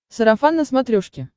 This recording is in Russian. сарафан на смотрешке